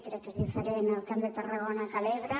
crec que és diferent el camp de tarragona de l’ebre